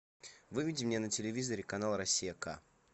выведи мне на телевизоре канал россия к